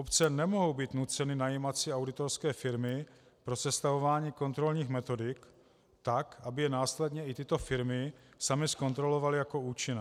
Obce nemohou být nuceny najímat si auditorské firmy pro sestavování kontrolních metodik tak, aby je následně i tyto firmy samy zkontrolovaly jako účinné.